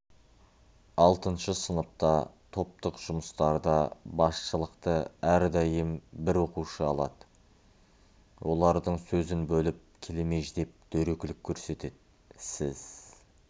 алтыншы сыныпта топтық жұмыстарда басшылықты әрдәйым бір оқушы алады олардың сөзін бөліп келемеждеп дөрекілік көрсетеді сіз